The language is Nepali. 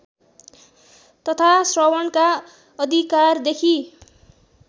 तथा श्रवणका अधिकारदेखि